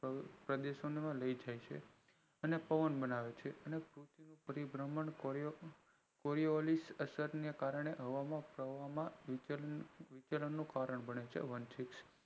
પ્રદેશો માં લઈજાય છે અને પવન બનાવે છે અને પરિબ્રહ્મણ coriolis અસરને કારણે હવામાં વિચરણ નું કારણ બને છે